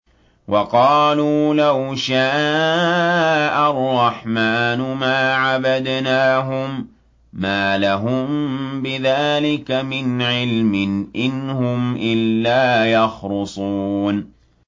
وَقَالُوا لَوْ شَاءَ الرَّحْمَٰنُ مَا عَبَدْنَاهُم ۗ مَّا لَهُم بِذَٰلِكَ مِنْ عِلْمٍ ۖ إِنْ هُمْ إِلَّا يَخْرُصُونَ